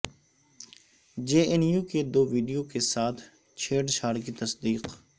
جے N U کے دو video کے ساتھ چھیڑ چھاڑ کی تصدیق